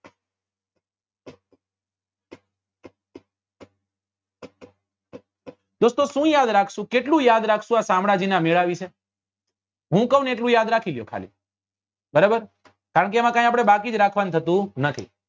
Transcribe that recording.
દોસ્તો શું યાદ રાખશું કેટલું યાદ રાખશું આ શામળાજી ના મેળા વિશે હું કઉં ને એટલું યાદ રાખી દો ખાલી બરાબર કારણે કે એમાં કઈ આપડે બાકી જ રાખવા નું થતું નથી